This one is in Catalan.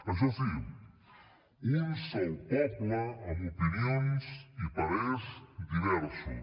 això sí un sol poble amb opinions i parers diversos